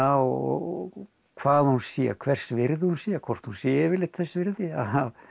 og hvað hún sé hvers virði hún sé hvort hún sé yfirleitt þess virði að